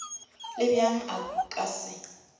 le bjang a ka se